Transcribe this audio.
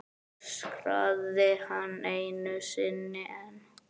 öskraði hann einu sinni enn.